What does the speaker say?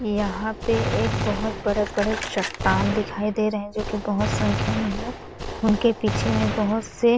यहाँ पे एक बहुत बड़े-बड़े चट्टान दिखाई दे रहे है जोकि बहुत संख्या में है उन के पीछे में बहुत से --